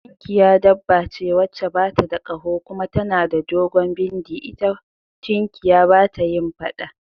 Tunkiya dabba ce wacce bata da kaho kuma tana da dogon bindi, ita tunkiya bata yin faɗa